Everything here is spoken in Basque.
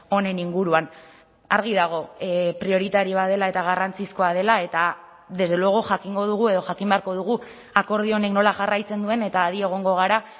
honen inguruan argi dago prioritarioa dela eta garrantzizkoa dela eta desde luego jakingo dugu edo jakin beharko dugu akordio honek nola jarraitzen duen eta adi egongo gara